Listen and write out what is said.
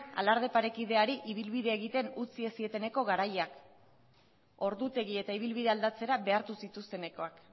alarde parekideari ibilbidea egiten utzi ez zieteneko garaia ordutegi eta ibilbidea aldatzera behartu zituztenekoak